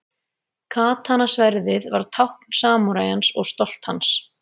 Katana-sverðið var tákn samúræjans og stolt hans.